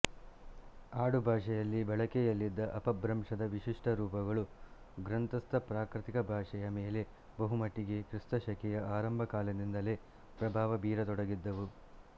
ಆಡು ಭಾಷೆಯಲ್ಲಿ ಬಳಕೆಯಲ್ಲಿದ್ದ ಅಪಭ್ರಂಶದ ವಿಶಿಷ್ಟರೂಪಗಳು ಗ್ರಂಥಸ್ಥ ಪ್ರಾಕೃತ ಭಾಷೆಯ ಮೇಲೆ ಬಹುಮಟ್ಟಿಗೆ ಕ್ರಿಸ್ತಶಕೆಯ ಆರಂಭಕಾಲದಿಂದಲೇ ಪ್ರಭಾವ ಬೀರತೊಡಗಿದ್ದವು